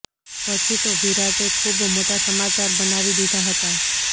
પછી તો વિરાટે ખૂબ મોટા સમાચાર બનાવી દીધા હતા